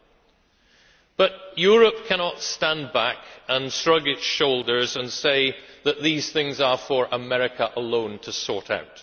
However, Europe cannot stand back, shrug its shoulders and say that these things are for America alone to sort out.